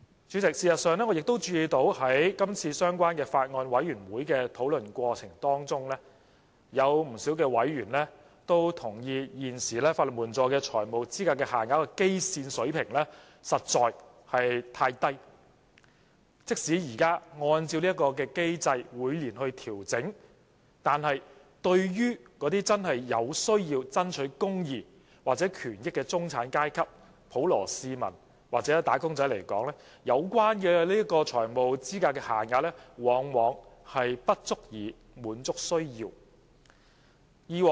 主席，事實上，在今次相關的擬議決議案小組委員會的討論中，不少委員也同意，現時法援的財務資格限額的基線水平實在太低，即使按照這個機制每年調整，對於那些真正有需要爭取公義或權益的中產階級、普羅市民或打工階層來說，有關的財務資格限額往往沒有顧及他們的需要。